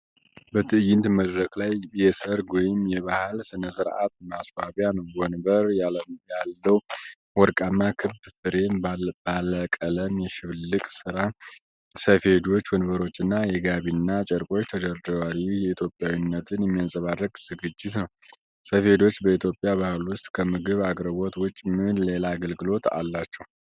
በትዕይንት መድረክ ላይ የሠርግ ወይም የባህል ሥነ ሥርዓት ማስዋቢያ ነው። ወንበር ያለውወርቃማ ክብ ፍሬም፣ ባለቀለም የሽብልቅ ስራ ሰፌዶች፣ ወንበሮችና የጋቢና ጨርቆች ተደርድረዋል። ይህ የኢትዮጵያዊነትን የሚያንጸባርቅ ዝግጅት ነው። ሰፌዶች በኢትዮጵያ ባህል ውስጥ ከምግብ አቅርቦት ውጪ ምን ሌላ አገልግሎት አላቸው?